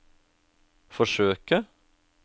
forsøke